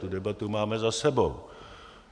Tu debatu máme za sebou.